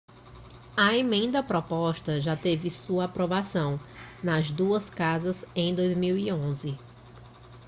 a emenda proposta já teve sua aprovação nas duas casas em 2011